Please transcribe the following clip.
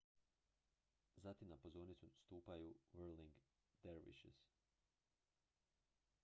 zatim na pozornicu stupaju whirling dervishes